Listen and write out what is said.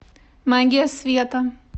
магия света